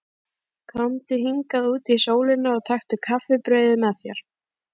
Komdu hingað út í sólina og taktu kaffibrauðið með þér.